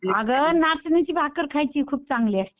अगं नाचणीची भाकर खायची खूप चांगली असते.